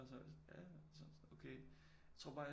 Og så var jeg sådan ja ja og så var han sådan okay tror bare jeg